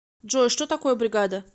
джой что такое бригада